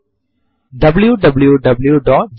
ഇവിടെ കാണിക്കുന്നത് ഫെബ്രുവരി 11 എന്നാണ്